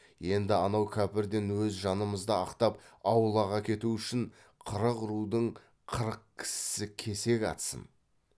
енді анау кәпірден өз жанымызды ақтап аулақ әкету үшін қырық рудың қырық кісісі кесек атсын